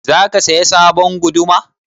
Za ka saya sabon guduma?